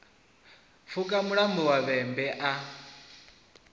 pfuka mulambo wa vhembe a